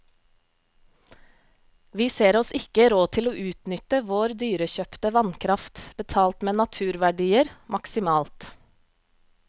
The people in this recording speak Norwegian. Vi ser oss ikke råd til å utnytte vår dyrekjøpte vannkraft, betalt med naturverdier, maksimalt.